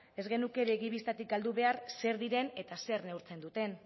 ez genuke begi bistatik galdu behar zer diren eta zer neurtzen duten